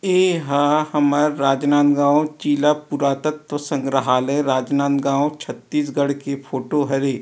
इ ह हमर राजनाँदगाँव जिला पुरातत्व संग्रहले राजनाँदगाँव छत्तीसगढ़ की फोटो हरे--